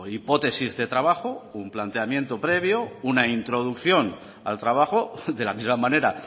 hipótesis de trabajo un planteamiento previo una introducción al trabajo de la misma manera